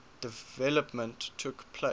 development took place